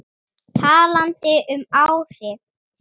Talandi um áhrif.